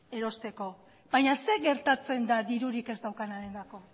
erosteko baina zer gertatzen da dirurik ez daukanarentzako